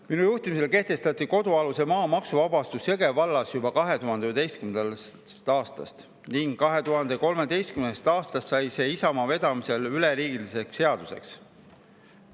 Minu juhtimisel kehtestati kodualuse maa maksuvabastus Jõgeva vallas juba 2011. aastast ning 2013. aastast sai see Isamaa vedamisel üleriigiliseks seaduseks.